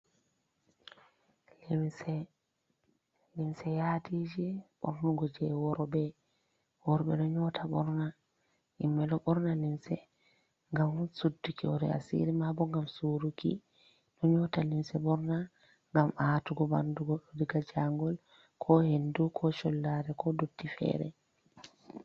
Limse, limse yadiiji ɓornugo jey worɓe. Worɓe ɗo nyoota ɓorna, himɓe ɗo ɓorna limse ,ngam sudduki hoore asiri. Mabo ngam suruki, ɗo nyoota limse ɓorna ngam atugo ɓanndu goɗɗo, diga jaangol ko hendu ko collare ko ndotti feere.